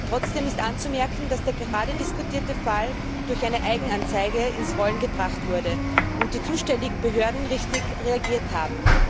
Trotzdem ist anzumerken, dass der gerade diskutierte Fall durch eine Eigenanzeige ins Rollen gebracht wurde und die zuständigen Behörden richtig reagiert haben.